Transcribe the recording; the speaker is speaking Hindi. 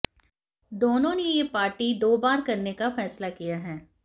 दोनों ने ये पार्टी दो बार करने का फैसला किया है